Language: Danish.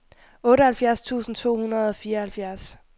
otteoghalvfjerds tusind to hundrede og fireoghalvfjerds